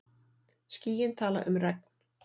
Skýin tala um regn.